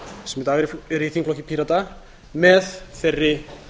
sem í dag er í þingflokki pírata með þeirri